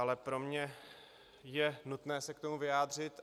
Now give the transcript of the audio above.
Ale pro mě je nutné se k tomu vyjádřit.